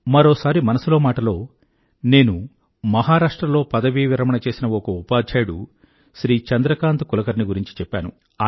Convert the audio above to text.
మరోసారి మనసులో మాటలో నేను మహరాష్ట్రలో పదవీ విరమణ చేసిన ఒక ఉపాధ్యాయుడు శ్రీ చంద్రకంత్ కులకర్ణీ గురించి చెప్పాను